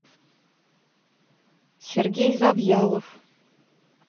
сергей завьялов